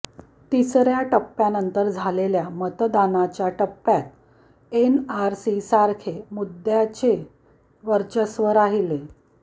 तिसऱ्या टप्प्यानंतर झालेल्या मतदानाच्या टप्प्यात एनआरसीसारखे मुद्द्याचे वर्चस्व राहिले